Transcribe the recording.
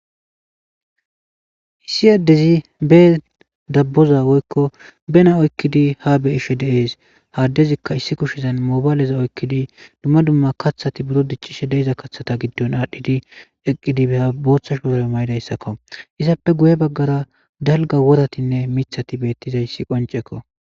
issi aaddezi be dabboza woykko bena oykkidi ha beeshe deees haaddezikka issi kushizan moobaaleza oykkidi dumma dumma kathati buro dichcishe deiza kaththata giddon aadhdhidi eqqidibeya booththash poraro maydayssakko izappe guye baggara dalga woratinne mithati beettizayssi qoncekko